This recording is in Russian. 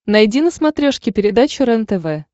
найди на смотрешке передачу рентв